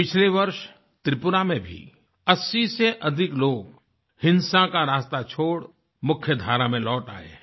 पिछले वर्ष त्रिपुरा में भी 80 से अधिक लोग हिंसा का रास्ता छोड़ मुख्यधारा में लौट आए हैं